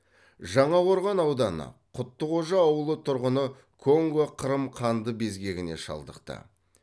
жаңақорған ауданы құттықожа ауылы тұрғыны конго қырым қанды безгеніне шалдықты